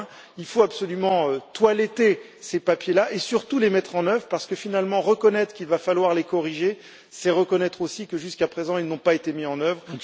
Il faut absolument toiletter ces papiers et surtout, les mettre en œuvre parce que, finalement, reconnaître qu'il va falloir les corriger, c'est reconnaître aussi que, jusqu'à présent, ils n'ont pas été mis en œuvre.